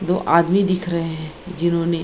वो आदमी देख रहे हैं जिन्होंने --